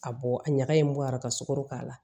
A bɔ a ɲaga in bɔ a la ka sukoro k'a la